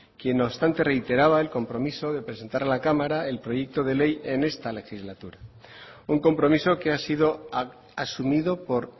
quien no obstante reiteraba el compromiso de presentar a la cámara el proyecto de ley en esta legislatura un compromiso que ha sido asumido por